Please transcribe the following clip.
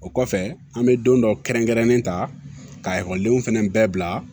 O kɔfɛ an bɛ don dɔ kɛrɛnkɛrɛnnen ta ka ekɔlidenw fana bɛɛ bila